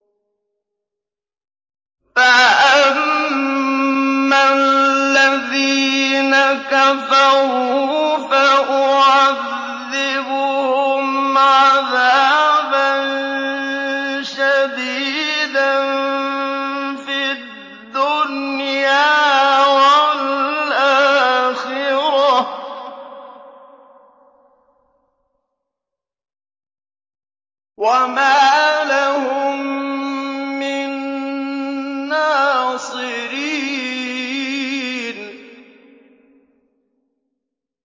فَأَمَّا الَّذِينَ كَفَرُوا فَأُعَذِّبُهُمْ عَذَابًا شَدِيدًا فِي الدُّنْيَا وَالْآخِرَةِ وَمَا لَهُم مِّن نَّاصِرِينَ